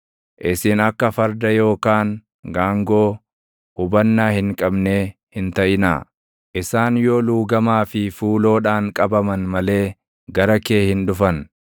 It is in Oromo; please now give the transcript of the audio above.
Isin akka farda yookaan gaangoo hubannaa hin qabnee hin taʼinaa; isaan yoo luugamaa fi fuuloodhaan qabaman malee gara kee hin dhufan.